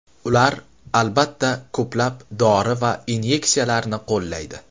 Ular, albatta, ko‘plab dori va inyeksiyalarni qo‘llaydi.